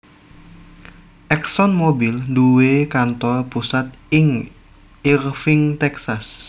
ExxonMobil duwé kantor pusat ing Irving Texas